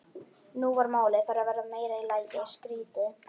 Nú var málið farið að verða í meira lagi skrýtið.